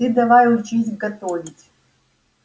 ты давай учись готовить